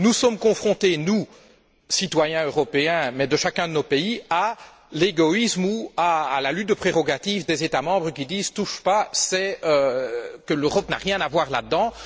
Nous sommes confrontés, nous, citoyens européens, dans chacun de nos pays, à l'égoïsme ou à la lutte de prérogatives des États membres, qui disent Touche pas, l'Europe n'a rien à voir là dedans!.